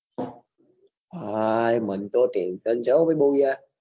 હાય મને તો tension છો હો ભાઈ બઉ યાર